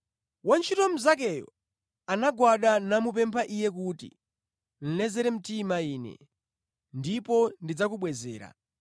“Wantchito mnzakeyo anagwada namupempha iye kuti, ‘Lezere mtima ine, ndipo ndidzakubwezera.’